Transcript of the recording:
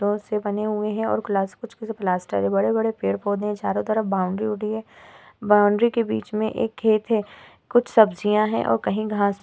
Ross सी बनी हुई है और कुछ कुछ प्लास्टर से बड़े-बड़े पेड़-पौधे हैं। चारों तरफ बाउंड्री हो रही है। बाउंड्री के बीच में एक खेत है। कुछ सब्जियाँ हैं और कहीं घास --